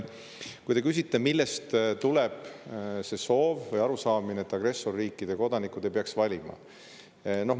Te küsite, millest tuleneb see soov ja arusaamine, et agressorriikide kodanikud ei peaks valima.